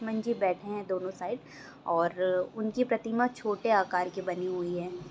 हनुमन जी बैठे है दोनों साइड और उनकी प्रतिमा छोटे आकार की बनी हुई है।